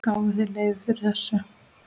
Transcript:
Gáfuð þið leyfi fyrir þessu?